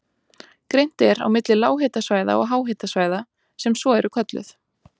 Greint er á milli lághitasvæða og háhitasvæða sem svo eru kölluð.